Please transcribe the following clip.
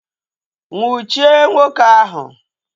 Nnwuchie nwoke ahụ!